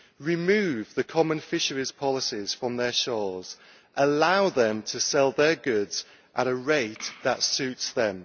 remove the common fisheries policies from their shores and allow them to sell their goods at a rate that suits them.